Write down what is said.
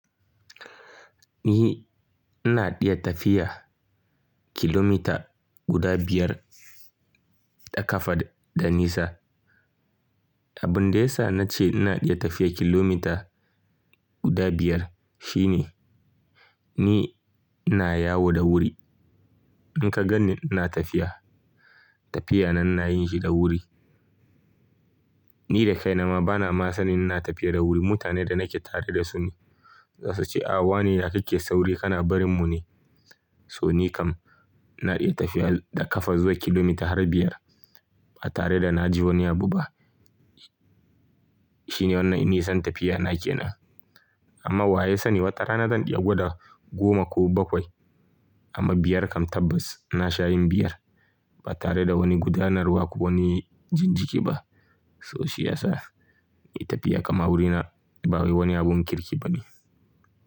Ni ina iya tafiya kilometer guda biyar da kafa da nisa. Abin da ya sa na ce ina iya tafiya kilomita guda biyar shine ni ina yawo da wuri. In ka gani ina tafiya, tafiyan nan na yin shi da wuri. Ni da kaina ma bana ma sanin ina tafiya da wuri. Mutanen da nake tare da su ne za su ce, "Awa ne da kike sauri kana barin mu ne." To ni kam ina iya tafiya da kafa zuwa kilomita har biyar ba tare da na ji wani abu ba. Shi ne wannan inisan tafiya na ke nan. Amma wa ya sani wata rana zan iya gwada goma ko bakwai. Amma biyar kam tabbas na sha yin biyar ba tare da wani gudanarwa ko wani jinjiki ba. To shi ya sa ni tafiya kama wurina ba wani abun kirki ba ne.